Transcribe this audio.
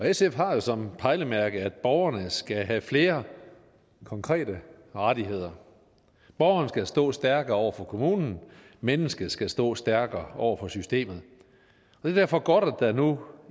sf har jo som pejlemærke at borgerne skal have flere konkrete rettigheder borgeren skal stå stærkere over for kommunen mennesket skal stå stærkere over for systemet det er derfor godt at der nu